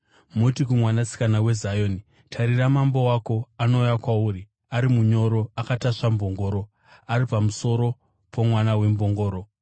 “Muti kuMwanasikana weZioni, ‘Tarira, Mambo wako anouya kwauri, ari munyoro, akatasva mbongoro, ari pamusoro pomwana wembongoro.’ ”